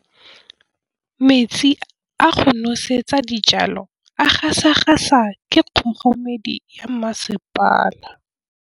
Metsi a go nosetsa dijalo a gasa gasa ke kgogomedi ya masepala.